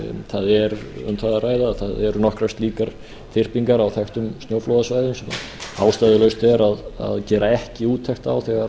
það er um það að ræða að það eru nokkrar slíkar þyrpingar á þekktum snjóflóðasvæðum sem ástæðulaust er að gera ekki úttekt á þegar